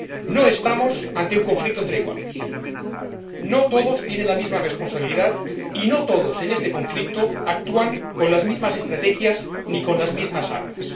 No estamos ante un conflicto entre iguales, no todos tienen la misma responsabilidad y no todos en este conflicto actúan con las mismas estrategias ni con las mismas armas.